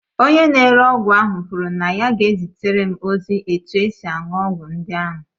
Onye na-ere ọgwụ ahụ kwuru na ya ga-ezitere m ozi etu esi aṅụ ọgwụ ndị ahụ